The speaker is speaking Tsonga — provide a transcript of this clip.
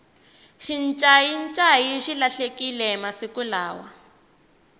xincayincayi xi lahlekile masiku lawa